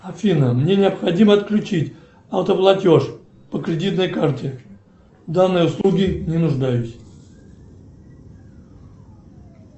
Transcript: афина мне необходимо отключить автоплатеж по кредитной карте в данной услуге не нуждаюсь